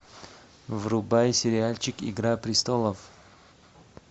врубай сериальчик игра престолов